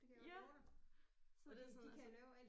Ja så det